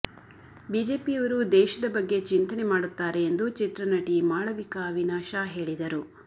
ಬಿಜೆಪಿಯವರು ದೇಶದ ಬಗ್ಗೆ ಚಿಂತನೆ ಮಾಡುತ್ತಾರೆ ಎಂದು ಚಿತ್ರನಟಿ ಮಾಳವಿಕಾ ಅವಿನಾಶ ಹೇಳಿದರು